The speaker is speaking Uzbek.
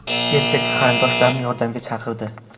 Erkak qarindoshlarni yordamga chaqirdi.